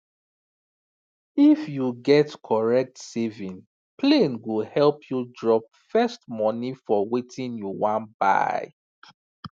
if you get correct saving plane go help you drop first money for wetin you wan buy